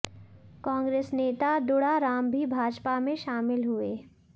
कांग्रेस नेता दुड़ाराम भी भाजपा में शामिल हुए